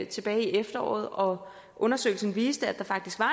tilbage i efteråret og undersøgelsen viste at der faktisk var